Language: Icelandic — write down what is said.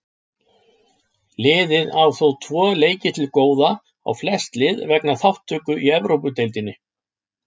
Liðið á þó tvo leiki til góða á flest lið vegna þátttöku í Evrópudeildinni.